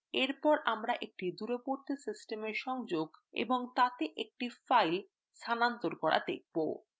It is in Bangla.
এরপর আমরা একটি দূরবর্তী systema সংযোগ এবং তাতে একটি file স্থানান্তর করা দেখব